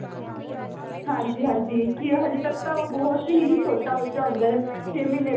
ਹਾਂਜੀ ਹਾਂਜੀ ਕੀ ਆ ਹਜੇ ਤੱਕ ਤਾਂ ਉਹ ਬਹੁਤ ਹੀ ਛੋਟਾ ਬੱਚਾ ਹੁੰਦਾ ਛੇ ਮਹੀਨੇ ਦੇ